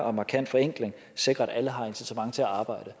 og markant forenkling sikrer at alle har incitament til at arbejde